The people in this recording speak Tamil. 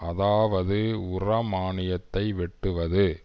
அதாவது உரமானியத்தை வெட்டுவது